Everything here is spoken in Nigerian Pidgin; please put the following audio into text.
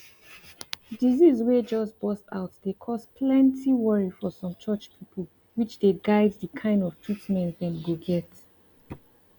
disease way just burst out dey cause plenty worry for some church people which dey guide the kind of treatment dem go get